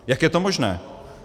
Jak je to možné?